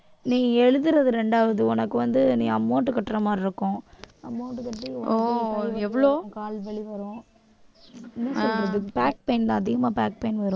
நீ எழுதுறது இரண்டாவது உனக்கு வந்து நீ amount கட்ற மாதிரி இருக்கும் amount கட்டி வரும் ஆங் தான் அதிகமா back pain வரும்